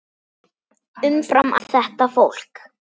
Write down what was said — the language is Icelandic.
Umfram allt þetta fólk.